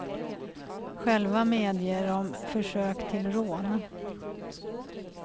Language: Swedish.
Själva medger de försök till rån.